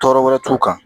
Tɔɔrɔ wɛrɛ t'u kan